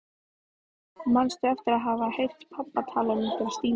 Manstu eftir að hafa heyrt pabba tala um einhverja Stínu?